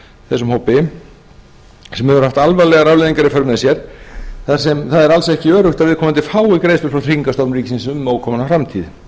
þessum hópi sem hefur haft alvarlegar afleiðingar í för með sér þar sem það er alls ekki öruggt að viðkomandi fái greiðslur frá tryggingastofnun ríkisins um ókomna framtíð